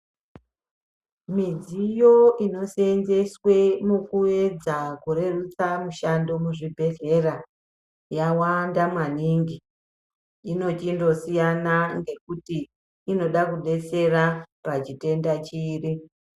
Midziyo iniseenzeswe mukuedza kurerutsa mushando muzvibhedhleya yawanda maningi inochindosiyana ngekuti inida kudetsera pachitenda chiri.